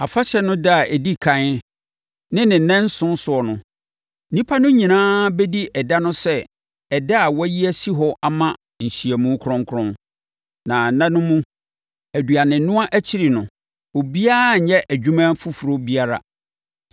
Afahyɛ no ɛda a ɛdi ɛkan ne ne nnanson soɔ no, nnipa no nyinaa bɛdi ɛda no sɛ ɛda a wɔayi asi hɔ ama nhyiamu kronkron. Na nna no mu, aduanenoa akyiri no, obiara nnyɛ adwuma foforɔ biara.